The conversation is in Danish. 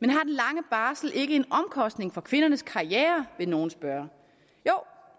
men har den lange barsel ikke en omkostning for kvindernes karriere vil nogle spørge jo